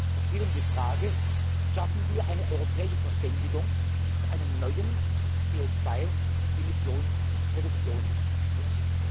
Es geht um die Frage Schaffen wir eine europäische Verständigung für einen neuen CO 2 Emissions Reduktionswert?